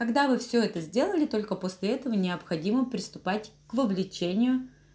когда вы все это сделали только после этого необходимо приступать к вовлечению